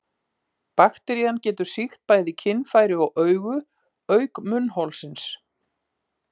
Bakterían getur sýkt bæði kynfæri og augu, auk munnholsins.